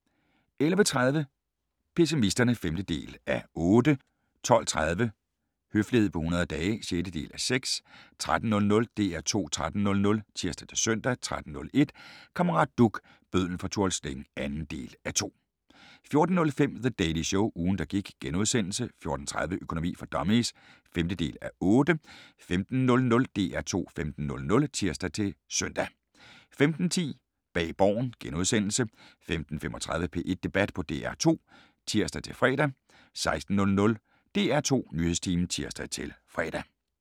11:30: Pessimisterne (5:8) 12:30: Høflighed på 100 dage (6:6) 13:00: DR2 13.00 (tir-søn) 13:01: Kammerat Duch – bødlen fra Tuol Sleng (2:2) 14:05: The Daily Show – ugen der gik * 14:30: Økonomi for dummies (5:8) 15:00: DR2 15.00 (tir-søn) 15:10: Bag Borgen * 15:35: P1 Debat på DR2 (tir-fre) 16:00: DR2 Nyhedstimen (tir-fre)